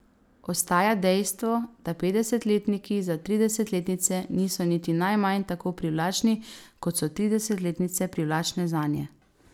Ostaja dejstvo, da petdesetletniki za tridesetletnice niso niti najmanj tako privlačni, kot so tridesetletnice privlačne zanje.